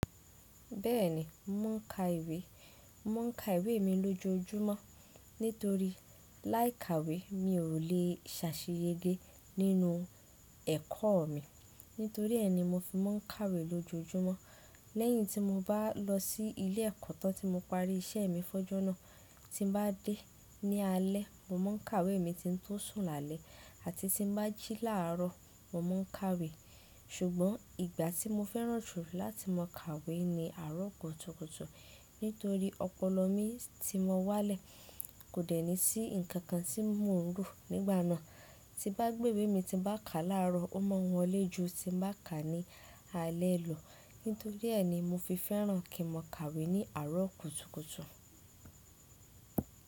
Bẹ́ẹ̀ni, mò ń ka ìwé. Mò ń ka ìwé mi lójoójúmọ́ nítorí láì ka ìwé mi ò le è ṣàṣeyẹge nínú ẹ̀kọ́ mi. Nítorí ẹ́ ni mo fi mọ́ ń ka ìwé lójoójúmọ́. Lẹ́yìn tí mo bá lọ sí ilé ẹ̀kọ́ tán tí mo parí iṣẹ́ mi fọjú náà tí bá dé ní alé, mo máa ń ka ìwé mi tí ń tó sùn lálẹ́ àti tí bá jí láàárọ̀, mo máa ń ka ìwé. Ṣùgbọ́n ìgbà tí mo fẹ́ràn jù láti mọ ka ìwé ni àárọ̀ kùtùkùtù nítorí ọpọlọ mi tí mo wá lẹ̀ kò dẹ́ni sí nkankan tí mò ń rò nígbà náà. Tí bá gbé ìwé mi tí bá ka láàárọ̀, ó máa ń wọlé ju tí bá ka ní alé lọ. Nítorí ẹ́ ni mo fi fẹ́ràn kí n ka ìwé ní àárọ̀ kùtùkùtù.